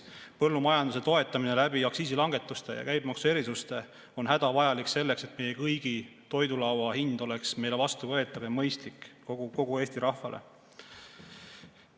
Põllumajanduse toetamine aktsiisilangetuste ja käibemaksuerisuste kaudu on hädavajalik selleks, et meie kõigi toidulaua hind oleks meile vastuvõetav ja mõistlik kogu Eesti rahvale.